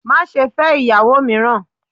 Má ṣe fẹ́ ìyàwó mìíràn!